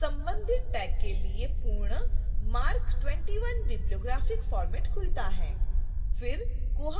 तो संबधित tag के लिए पूर्ण marc 21 bibliographic format खुलता है